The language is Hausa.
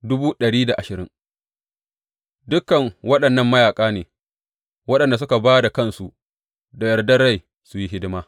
Dukan waɗannan mayaƙa ne waɗanda suka ba da kansu da yardar rai su yi hidima.